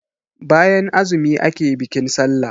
bayan azumi ake bikin sallah